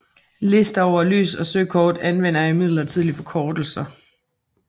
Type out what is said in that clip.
Lister over lys og søkort anvender imidlertid forkortelser